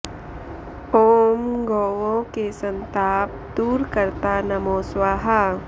ॐ गौओं के सन्ताप दूर कर्ता नमो स्वाहा